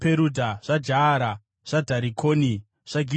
zvaJaara, zvaDharikoni, zvaGidheri,